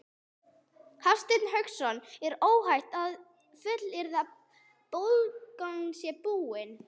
Hafsteinn Hauksson: Er óhætt að fullyrða að bólgan sé búin?